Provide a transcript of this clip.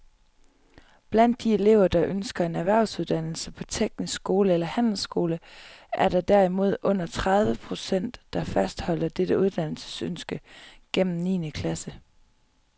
Blandt de elever, der ønsker en erhvervsuddannelse på teknisk skole eller handelsskole, er der derimod under tredive procent, der fastholder dette uddannelsesønske gennem niende klasse.